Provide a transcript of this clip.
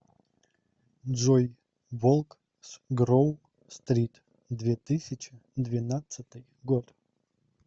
джой волк с гроу стрит две тысячи двенадцатый год